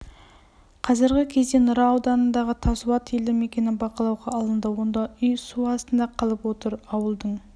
қазіргі кезде нұра ауданындағы тассуат елді мекені бақылауға алынды онда үй су астында қалып отыр ауылдың